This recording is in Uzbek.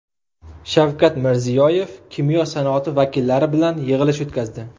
Shavkat Mirziyoyev kimyo sanoati vakillari bilan yig‘ilish o‘tkazdi.